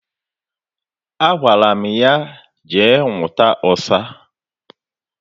Agwara m ya jee nwụta ọsa